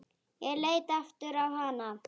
Ég leit aftur á hana.